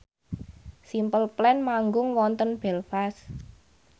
Simple Plan manggung wonten Belfast